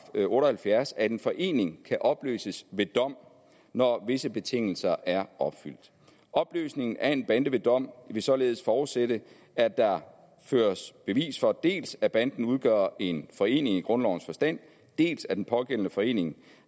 otte og halvfjerds at en forening kan opløses ved dom når visse betingelser er opfyldt opløsningen af en bande ved dom vil således forudsætte at der føres bevis for dels at banden udgør en forening i grundlovens forstand dels at den pågældende forening